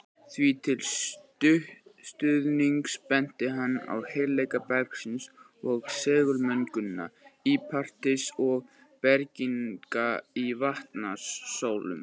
Því til stuðnings benti hann á heilleika bergsins og segulmögnun líparíts og bergganga í Vatnsdalshólum.